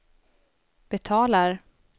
betalar